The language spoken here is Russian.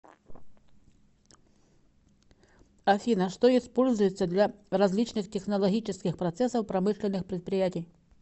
афина что используется для различных технологических процессов промышленных предприятий